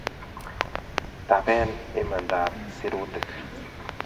Taben Imanda ab sirutik